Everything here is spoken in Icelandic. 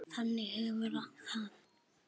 Þannig hefur það alltaf verið.